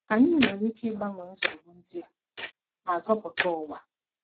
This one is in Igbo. Anyị nwere ike ịgbanwe nsogbu ndị a ma zọpụta ụwa.